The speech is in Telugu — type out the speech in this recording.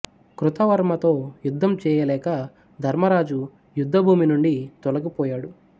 కృతవర్మతో యుద్ధం చేయ లేక ధర్మరాజు యుద్ధభూమి నుండి తొలగి పోయాడు